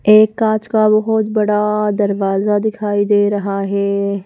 एक काच का बहुत बड़ा दरवाजा दिखाई दे रहा है।